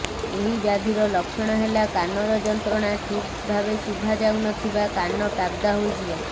ଏହି ବ୍ୟାଧିର ଲକ୍ଷ୍ୟଣ ହେଲା କାନର ଯନ୍ତ୍ରଣା ଠିକ୍ ଭାବେ ଶୁଭାଯାଉ ନଥିବା କାନ ତାବଦା ହୋଇଯିବା